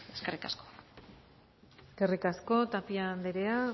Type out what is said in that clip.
eskerrik asko eskerrik asko tapia andrea